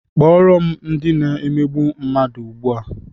Kpọrọ m ndị na-emegbu mmadụ ugbua!